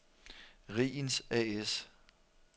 Riegens A/S